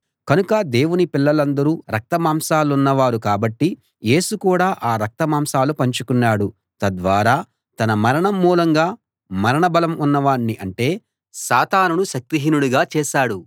కనుక దేవుని పిల్లలందరూ రక్తమాంసాలున్న వారు కాబట్టి యేసు కూడా ఆ రక్తమాంసాలు పంచుకున్నాడు తద్వారా తన మరణం మూలంగా మరణ బలం ఉన్నవాణ్ణి అంటే సాతానును శక్తిహీనుడుగా చేసాడు